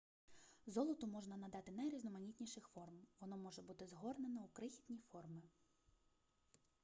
золоту можна надати найрізноманітніших форм воно може бути згорнено у крихітні форми